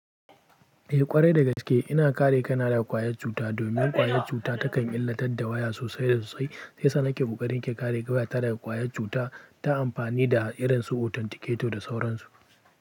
Eh ƙwarai da gaske ina kare kaina daga ƙwayar cuta domin ƙwayar cuta ta kan illatar da waya sosai da sosai sai shiyasa nake buƙatar in ke kare wayata daga ƙwayar cuta ta amfani da irin su authenticator da sauransu.